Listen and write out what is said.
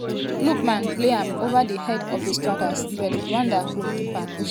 lookman play am ova di head of di strikers but rwanda goalkeeper push am out.